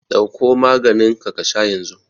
Ɗauko maganinka ka sha yanzu!